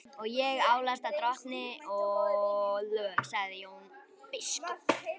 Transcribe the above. Og ég álasa drottni, sagði Jón biskup.